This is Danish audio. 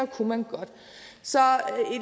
kunne man godt så